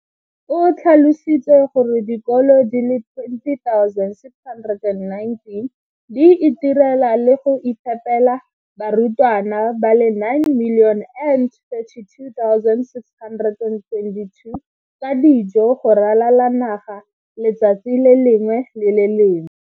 O tlhalositse gore dikolo di le 20 619 di itirela le go iphepela barutwana ba le 9 032 622 ka dijo go ralala naga letsatsi le lengwe le le lengwe.